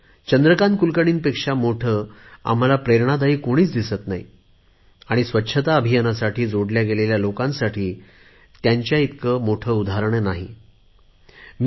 चंद्रकांत कुलकर्णी पेक्षा मोठे आम्हाला प्रेरणादायी कोणी दिसत नाही आणि स्वच्छता अभियानासाठी जोडल्या गेलेल्या लोकांसाठी चंद्रकांत कुलकर्णी पेक्षा मोठे उदाहरण असू शकत नाही